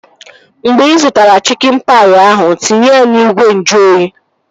Mgbe ị zụtara chikin paị ahụ, tinye ya n'ìgwè nju oyi!